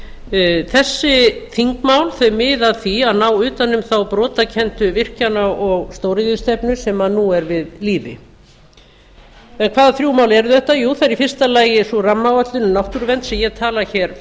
umræðu þessi þingmál miða að því að ná utan um á brotakenndu virkjana og stóriðjustefnu sem nú er við lýði en hvaða þrjú mál eru þetta það er í fyrsta lagi sú rammaáætlun um náttúruvernd sem ég tala hér